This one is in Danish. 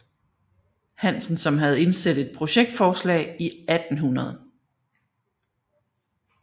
Hansen som havde indsendt et projektforslag i 1800